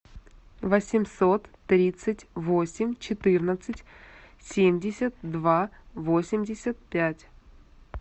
восемьсот тридцать восемь четырнадцать семьдесят два восемьдесят пять